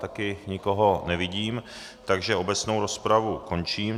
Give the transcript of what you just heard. Také nikoho nevidím, takže obecnou rozpravu končím.